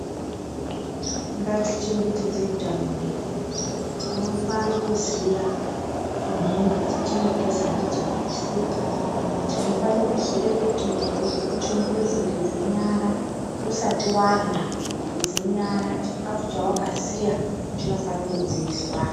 Ngatichengetedze utano hwedu. Tinofana kuziya nhengo dzetinogeza ndidzo ngesipo. Tinofano kuziya kuti muntu weibva kuchimbuzu geze nyara, usati warya, geze nyara, chikhafu chawakasiya, chinofana kudziiswa.